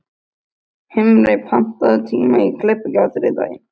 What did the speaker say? Himri, pantaðu tíma í klippingu á þriðjudaginn.